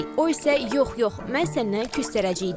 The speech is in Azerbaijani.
O isə "Yox, yox, mən səndən küstərəcəyəm" deyir.